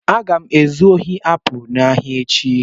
Aga m ezu ohi apụl n'ahịa echi.